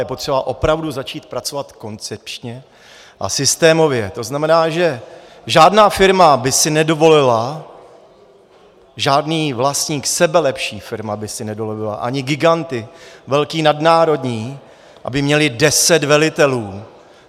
Je potřeba opravdu začít pracovat koncepčně a systémově, to znamená, že žádná firma by si nedovolila, žádný vlastník, sebelepší firma by si nedovolila, ani giganti, velcí nadnárodní, aby měli deset velitelů.